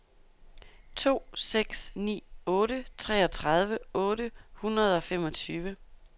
to seks ni otte treogtredive otte hundrede og femogtyve